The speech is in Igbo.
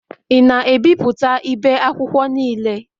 Ị na-ebipụta ibe akwụkwọ niile?